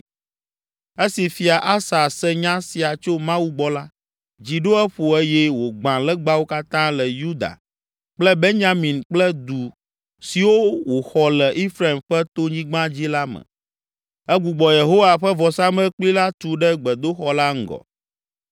Esi Fia Asa se nya sia tso Mawu gbɔ la, dzi ɖo eƒo eye wògbã legbawo katã le Yuda kple Benyamin kple du siwo wòxɔ le Efraim ƒe tonyigba dzi la me. Egbugbɔ Yehowa ƒe vɔsamlekpui la tu ɖe gbedoxɔ la ŋgɔ.